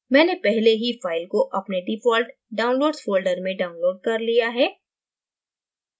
मैंने पहले ही file को अपने default downloads folder में downloaded कर लिया है